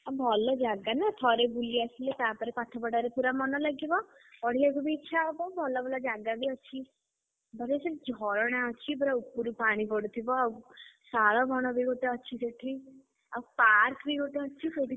ଭଲ ଜାଗା ନା ଥରେ ବୁଲି ଆସିଲେ ତା ପରେ ପାଠ ପଢାରେ ପୁରା, ମନ ଲାଗିବ ପଢିବାକୁ ବି ଇଚ୍ଛାହବ ଭଲ ଭଲ ଜାଗା ବି ଅଛି। ଝରଣା ଅଛି ପୁରା ଉପରୁ ପାଣି ପଡ଼ୁଥିବ ଆଉ ଶାଳ ବଣ ବି ଅଛି ଗୋଟେ ସେଠି। ଆଉ park ବି ଗୋଟେ ଅଛି ସେଠି।